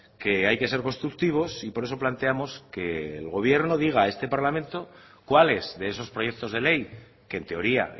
que hay que ser constructivos y por eso planteamos que el gobierno diga a este parlamento cuáles de esos proyectos de ley que en teoría